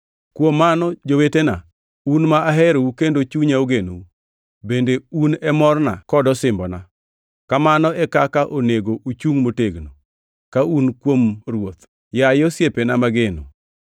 Kuom mano, jowetena, un ma aherou kendo chunya ogenou; bende un e morna kod osimbona, kamano e kaka onego uchungʼ motegno, ka un kuom Ruoth, yaye osiepena mageno!